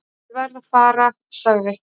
"""Ég verð að fara, sagði"""